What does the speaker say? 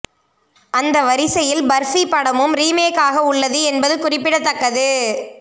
அந்த வரிசையில் பர்ஃபி படமும் ரீமேக் ஆக உள்ளது என்பது குறிப்பிடத்தக்கது